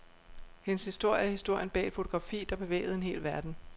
Hendes historie er historien bag et fotografi, der bevægede en hel verden.